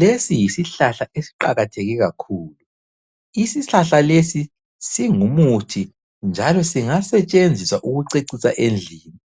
Lesi yisihlahla esiqakatheke kakhulu. Isihlahla lesi singumuthi njalo singasetshenziswa ukucecisa endlini.